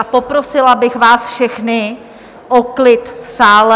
A poprosila bych vás všechny o klid v sále.